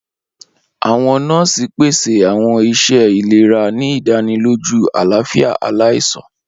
Awọn nọọsi pese awọn iṣẹ ilera, ni idaniloju alafia alaisan.